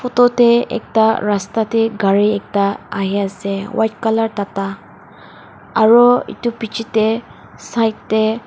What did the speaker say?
photo te ekta rasta te gari ekta ahe ase white colour tata aru etu piche te side te--